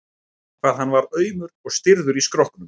hvað hann var aumur og stirður í skrokknum!